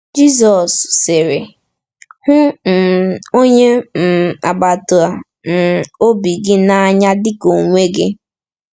Jizọs sịrị: “ Hụ um onye um agbata um obi gị n’anya dị ka onwe gị.”